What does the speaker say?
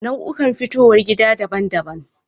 Nau'ukan fitowar gida daban-daban.